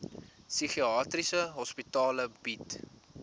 psigiatriese hospitale bied